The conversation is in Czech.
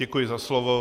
Děkuji za slovo.